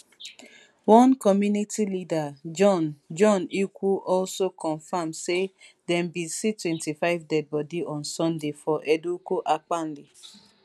one community leader john john ikwu also confam say dem bin see twenty-five deadbody on sunday for edikwu ankpali